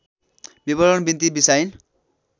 विवरण बिन्ती बिसाइन्